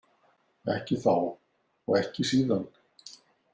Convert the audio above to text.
Ekki þá og ekki síðan.